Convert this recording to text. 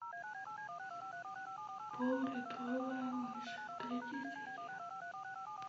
поллитровая мышь третья серия